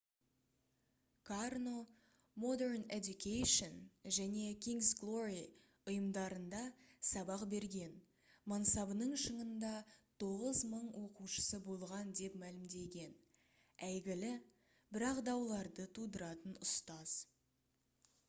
карно modern education және king's glory ұйымдарында сабақ берген мансабының шыңында 9000 оқушысы болған деп мәлімдеген әйгілі бірақ дауларды тудыратын ұстаз